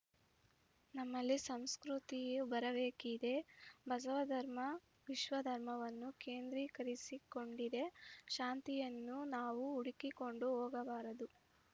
ನಮ್ಮಲ್ಲಿ ಸುಸಂಸ್ಕೃತಿ ಬರಬೇಕಿದೆ ಬಸವಧರ್ಮ ವಿಶ್ವಧರ್ಮವನ್ನು ಕೇಂದ್ರೀಕರಿಸಿಕೊಂಡಿದೆ ಶಾಂತಿಯನ್ನು ನಾವು ಹುಡುಕಿಕೊಂಡು ಹೋಗಬಾರದು